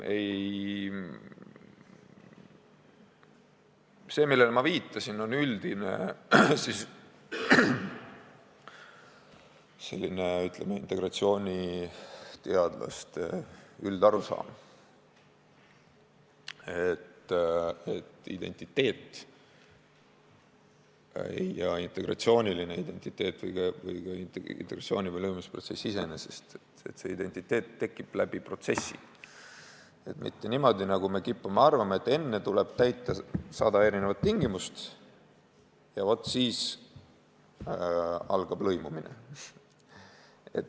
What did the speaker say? See, millele ma viitasin, on selline üldine integratsiooniteadlaste arusaam, mille järgi identiteet ja integratsiooniline identiteet – või ka integratsiooni- ja lõimumisprotsess iseenesest – tekib läbi protsessi, mitte niimoodi, nagu me kipume arvama, et enne tuleb täita sada erinevat tingimust ja vot siis algab lõimumine.